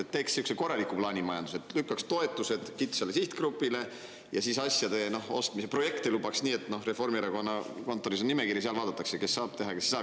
Et teeks sihukese korraliku plaanimajanduse, lükkaks toetused kitsale sihtgrupile ja siis asjade ostmist, projekte lubaks nii, et Reformierakonna kontoris on nimekiri ja seal vaadatakse, kes saab teha, kes ei saa.